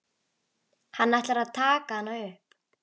Hann ætlar að taka hana upp.